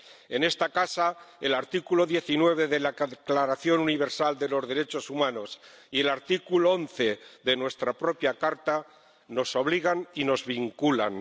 En esta casa el artículo 19 Declaración Universal de los Derechos Humanos y el artículo 11 de nuestra propia Carta nos obligan y nos vinculan.